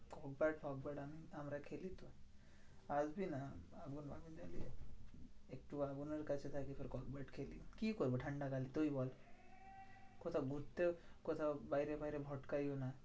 Cock bat ফক bat আমি আমরা খেলি তো। আসবি না আগুন ফাগুন জ্বালিয়ে একটু আগুনের কাছে থাকি, তারপরে কক ব্যাট খেলি। কি করবো ঠান্ডাকালে? তুই বল? কোথায় ঘুরতেও কোথাও বাইরে ফাইরে না।